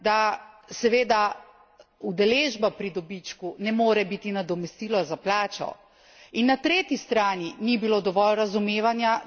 In na drugi strani ni bilo dovolj razumevanja, da seveda udeležba pri dobičku ne more biti nadomestilo za plačo.